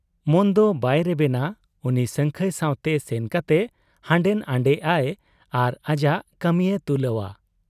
ᱢᱚᱱᱫᱚ ᱵᱟᱭ ᱨᱮᱵᱮᱱᱟ ᱩᱱᱤ ᱥᱟᱹᱝᱠᱷᱟᱹᱭ ᱥᱟᱶᱛᱮ ᱥᱮᱱ ᱠᱟᱛᱮ ᱦᱟᱸᱰᱮᱱᱷᱟᱸᱰᱮᱜ ᱟᱭ ᱟᱨ ᱟᱡᱟᱜ ᱠᱟᱹᱢᱤᱭᱮ ᱛᱩᱞᱟᱹᱣ ᱟ ᱾